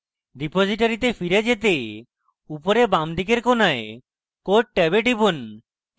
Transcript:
রিপোজিটরীতে ফিরে যেতে উপরের বাঁদিকের কোণায় code ট্যাবে টিপুন